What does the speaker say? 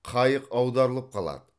қайық аударылып қалады